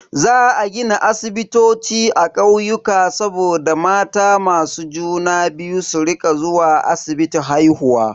Za a gina asibitoci a kauyuka saboda mata masu juna biyu su rika zuwa asibiti haihuwa.